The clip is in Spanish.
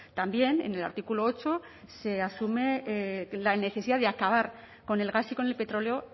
también en el artículo ocho se asume la necesidad de acabar con el gas y con el petróleo